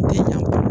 Tɛ ɲa